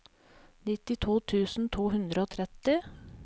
nittito tusen to hundre og tretti